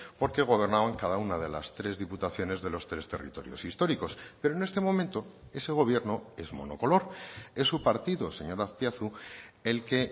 porque gobernaban cada una de las tres diputaciones de los tres territorios históricos pero en este momento ese gobierno es monocolor es su partido señor azpiazu el que